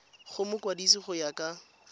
go mokwadise go ya ka